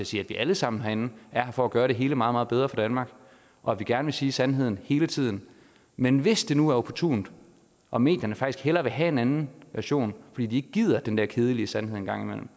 sige at vi alle sammen herinde er her for at gøre det hele meget meget bedre for danmark og at vi gerne vil sige sandheden hele tiden men hvis det nu er opportunt og medierne faktisk hellere vil have en anden version fordi de ikke gider den der kedelige sandhed en gang imellem